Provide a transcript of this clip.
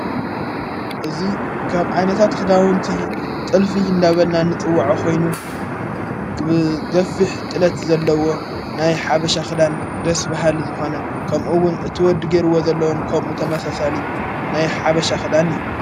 እዙ ካብ ዓይነታት ኽዳወንቲ ጥልፊ እንዳበልና ንጽውዖ ኾይኑ ብገፊሕ ጥለት ዘለዎ ናይ ሓበሻ ኽዳን ደስ በሃሊ ዝኾነ ከምኡውን እቲ ወዲ ጌይርዎ ዘለዉን ከምኡ ተመሳሳሊ ናይ ሓበሻ ኽዳን እዩ::